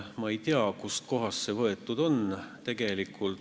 Ma ei tea, kust kohast see väide võetud on.